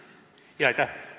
Aitäh!